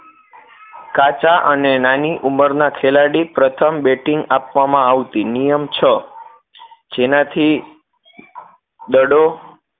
કાચા અને નાની ઉમરના ખેલાડી પ્રથમ batting આપવામાં આવતી નિયમ છ જેના થી દડો